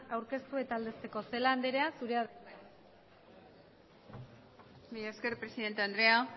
aurkeztu eta aldezteko celaá andrea zurea da hitza mila esker presidente andrea